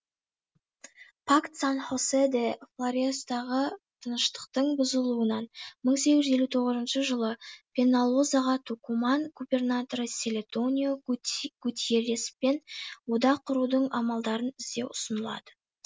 пакт сан хосе де флорестағы тыныштықтың бұзылуынан мың сегіз жүз елу тоғызыншы жылы пеналозаға тукуман губернаторы селедонио гутьерреспен одақ құрудың амалдарын іздеу ұсынылады